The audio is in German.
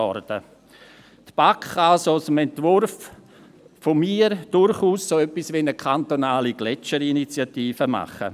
Die BaK kann somit aus meinem Entwurf durchaus so etwas wie eine kantonale Gletscherinitiative machen.